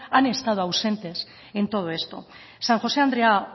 han estado ausentes en todo esto san josé andrea